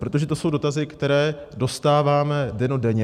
Protože to jsou dotazy, které dostáváme dennodenně.